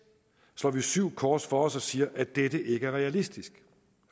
slår vi syv kors for os og siger at dette ikke er realistisk